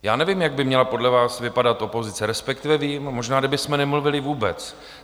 Já nevím, jak by měla podle vás vypadat opozice, respektive vím, možná kdybychom nemluvili vůbec.